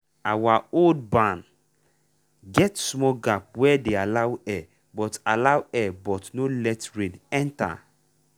our old barn get small gap wey dey allow air but allow air but no let rain enter.